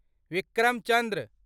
Vikram Chandra